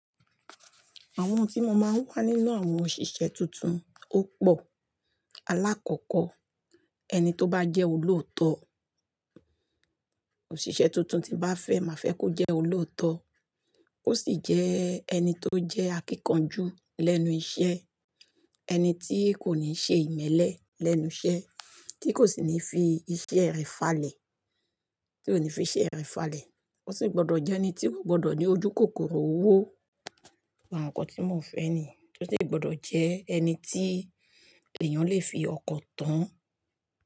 Àwọn ohun tí mo máa ń wa nínú àwọn òṣìṣẹ́ tuntun ó pò. Alákọ̀kọ̀, ẹni tó bá jẹ́ olòótọ́. Òṣìṣẹ́ tuntun tí bá fẹ́, má fẹ́ kó jẹ́ olòótọ́. Ó sì jẹ́ ẹni tó jẹ́ akíkanjú lẹ́nu iṣẹ́, ẹni tí kò ní ṣe ìmẹ́lẹ́ lẹ́nu iṣẹ́, tí kò sì ní fi iṣẹ́ rẹ̀ falẹ̀, tí ò ní fi iṣẹ́ rẹ̀ falẹ̀. Ó sì gbọdọ̀ jẹ́ ẹni tí kò gbọdọ̀ ní ojúkòkòrò owó. Àwọn nǹkan tí mò ń fẹ́ nìyẹn. Tí ó sì gbọdọ̀ jẹ́ ẹni tí èèyàn lè fi ọkọ̀ tán.